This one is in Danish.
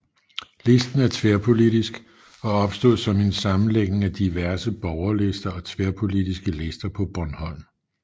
Listen er tværpolitisk og opstod som en sammenlægning af diverse borgerlister og tværpolitiske lister på Bornholm